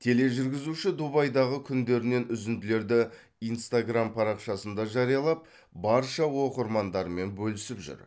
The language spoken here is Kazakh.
тележүргізуші дубайдағы күндерінен үзінділерді инстаграмм парақшасында жариялап барша оқырмандарымен бөлісіп жүр